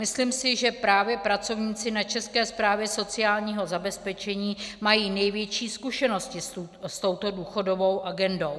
Myslím si, že právě pracovníci na České správě sociálního zabezpečení mají největší zkušenosti s touto důchodovou agendou.